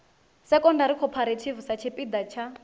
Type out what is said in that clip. secondary cooperative sa tshipiḓa tsha